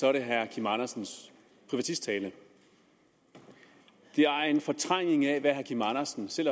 er det herre kim andersens privatisttale det er en fortrængning af hvad herre kim andersen selv